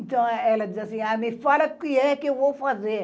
Então, ela diz assim, a me fala o que é que eu vou fazer.